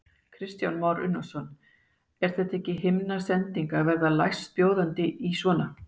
Kristján Már Unnarsson: Er þetta ekki himnasending að verða lægstbjóðandi í svona?